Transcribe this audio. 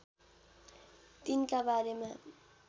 तीनका बारेमा